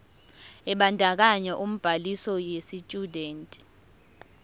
ebandakanya ubhaliso yesitshudeni